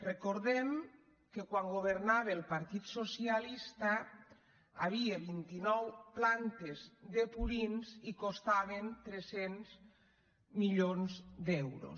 recordem que quan governava el partit socialista hi havia vint i nou plantes de purins i costaven tres cents milions d’euros